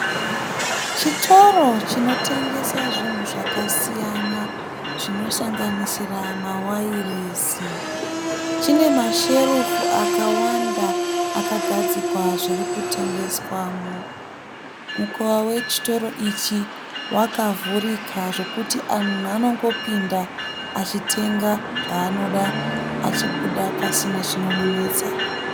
Chitoro chinotengesa zvinhu zvakasiyana zvinosanganisira mawairesi. Chine masherufu akawanda akagadzikwa zviri kutengeswamo. Mukova wechitoro ichii wakavhurika zvokuti munhu anongopinda achitenga zvaanoda achibuda pasina zvinomunetsa.